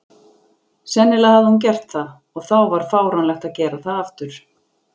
Sennilega hafði hún gert það, og þá var fáránlegt að gera það aftur.